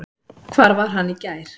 Hvar var hann í gær?